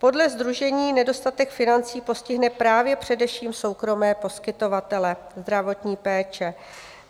Podle Sdružení nedostatek financí postihne právě především soukromé poskytovatele zdravotní péče.